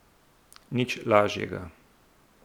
Nič lažjega!